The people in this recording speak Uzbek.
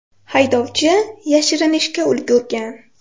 Haydovchi yashirinishga ulgurgan.